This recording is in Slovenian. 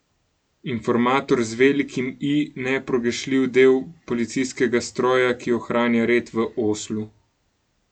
Informator z velikim I, nepogrešljiv del policijskega stroja, ki ohranja red v Oslu.